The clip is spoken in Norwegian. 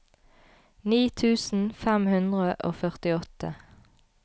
ni tusen fem hundre og førtiåtte